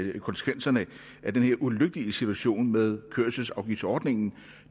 af konsekvenserne af den her ulykkelige situation med kørselsafgiftsordningen